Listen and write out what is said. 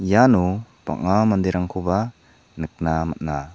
iano bang·a manderangko nikna man·a.